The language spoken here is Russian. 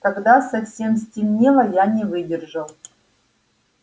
когда совсем стемнело я не выдержал